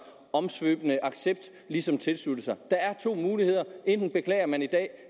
omsvøb ligesom tilslutte sig der er to muligheder enten beklager man i dag